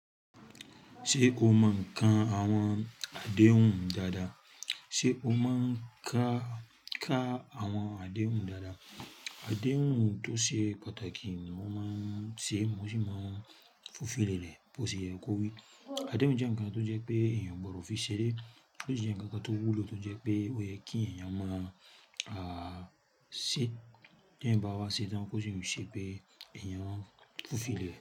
Ṣé o mo ńkan àwọn àdéhùn dáadáa? Ṣé o mo ń ka, ka àwọn àdéhùn dáadáa? Àdéhùn tó ṣe pàtàkì ni mó máa ń ṣe mo si máa ń fulfil ẹ̀ bó ṣe kó rí. Àdéhùn jẹ̀ n kan tó jẹ́ pé èèyàn gbọdọ̀ fi ṣẹ́ré, bó ti ẹ̀ je n kan tó wúlò tó jẹ́ pé ó yẹ kí èèyàn máa a ṣí ti eeyan ba wa ṣetán bó ṣe ń rí ṣẹ́ pé èèyàn ń fulfil ẹ̀.